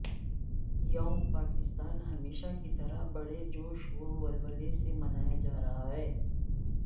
یوم پاکستان ہمیشہ کی طرح بڑے جوش و ولولے سے منایا جا رہا ہے